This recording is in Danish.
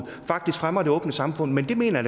faktisk fremmer det åbne samfund men det mener